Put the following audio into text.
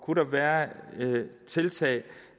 kunne være tiltag